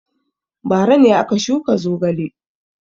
Bara ne aka shuka zogale.